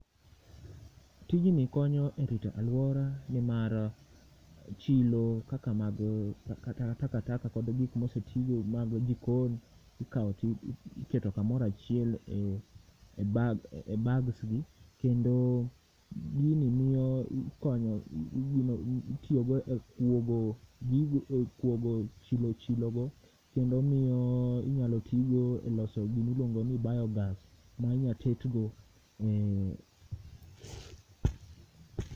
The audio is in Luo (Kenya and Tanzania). Tijni konyo e rito alwora ne mar chilo kaka mag takataka kod gik mosetigo mag jikon ikao tiketo kamora chiel e bag e bags gi, kendo gini mio konyo itiyog e kwogo gigo e kwogo chilo chilo go kendo mio inyalo tii go e loso gimi lwongo ni biogas mainyatetgo eh